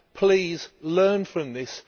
Please learn from this